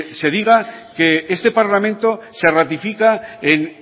se diga que este parlamento se ratifica en